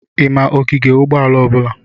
I ma ogige ụgbọala ọbụla?